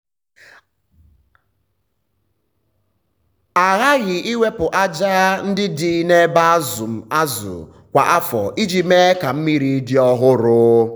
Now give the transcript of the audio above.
a ghaghị iwepụ aja ndị dị na ebe azụm azụ kwa afọ iji mee ka mmiri dị ọhụrụ.